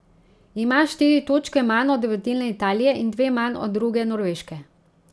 Ima štiri točke manj od vodilne Italije in dve manj od druge Norveške.